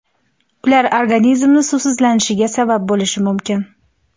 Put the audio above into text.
Ular organizmni suvsizlanishiga sabab bo‘lishi mumkin.